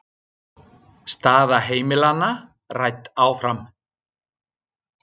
Staða heimilanna rædd áfram